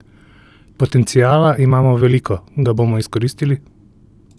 Potenciala imamo veliko, ga bomo izkoristili?